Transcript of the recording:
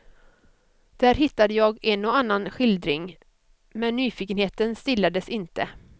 Där hittade jag en och annan skildring, men nyfikenheten stillades inte.